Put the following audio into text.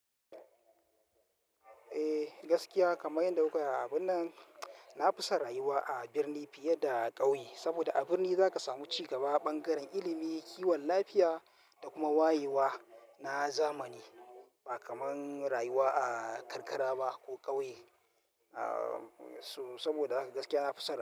Eh gaskiya kamar yadda kuka yi a abun nan, na fi son rayuwa a birni fiye da ƙauye. Saboda a birni za ka samu cigaba, bangaren ilimi, kiwon lafiya da kuma wayewa na zamani ba kamar rayuwa a karkara ba ko ƙauye. So saboda haka gaskiya na fi son.